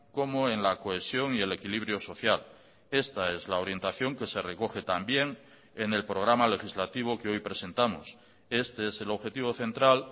como en la cohesión y el equilibrio social esta es la orientación que se recoge también en el programa legislativo que hoy presentamos este es el objetivo central